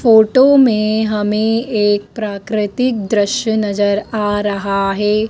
Photo में हमें एक प्राकृतिक दृश्य नजर आ रहा है।